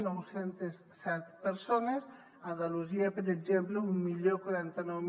nou cents i set persones andalusia per exemple deu quaranta nou